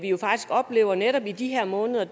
jo faktisk oplever netop i de her måneder